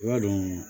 I b'a dɔn